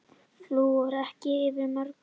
Flúor ekki yfir mörkum